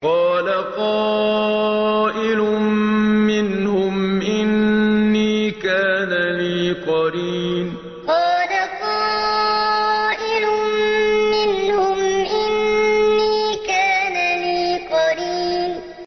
قَالَ قَائِلٌ مِّنْهُمْ إِنِّي كَانَ لِي قَرِينٌ قَالَ قَائِلٌ مِّنْهُمْ إِنِّي كَانَ لِي قَرِينٌ